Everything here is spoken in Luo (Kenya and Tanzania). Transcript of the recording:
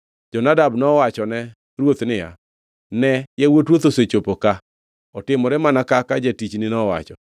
Jonadab nowachone ruoth niya, “Ne yawuot ruoth osechopo ka; otimore mana kaka jatichni nowacho.”